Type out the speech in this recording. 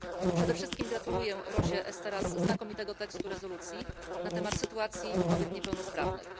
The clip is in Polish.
Przede wszystkim gratuluję Rosie Esteraz znakomitego tekstu rezolucji na temat sytuacji kobiet niepełnosprawnych.